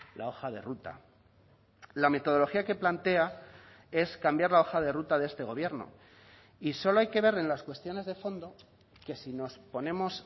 la hoja de ruta la metodología que plantea es cambiar la hoja de ruta de este gobierno y solo hay que ver en las cuestiones de fondo que si nos ponemos